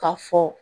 K'a fɔ